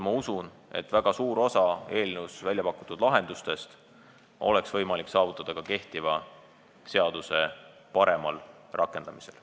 Ma usun, et väga suur osa eelnõus väljapakutud lahendustest oleks võimalik saavutada ka kehtiva seaduse paremal rakendamisel.